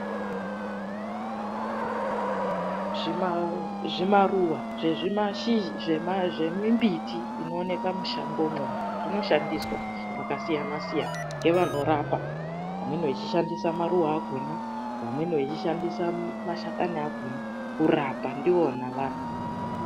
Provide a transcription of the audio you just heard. Zvimaruwa zvemimbiti inoonekwa mumashango inoshandiswa mwakasiyana siyana ngevanorapa. Amweni anoshandisa maruwa , vamweni vanoshandisa mashakani nenzinde kurapa ndiyona anhu.